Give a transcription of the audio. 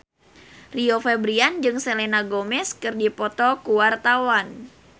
Rio Febrian jeung Selena Gomez keur dipoto ku wartawan